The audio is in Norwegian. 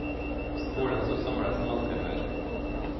Skolen står samlet som aldri før.